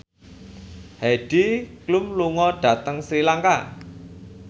Heidi Klum lunga dhateng Sri Lanka